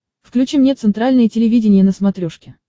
включи мне центральное телевидение на смотрешке